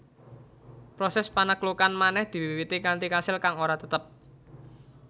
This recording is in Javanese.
Proses panaklukan manèh diwiwiti kanthi kasil kang ora tetep